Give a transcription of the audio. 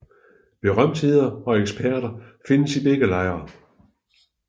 Berømtheder og eksperter findes i begge lejre